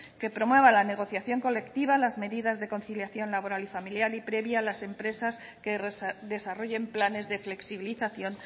que promueva la negociación colectiva las medidas de conciliación laboral y familiar y premie a las empresas que desarrollen planes de flexibilización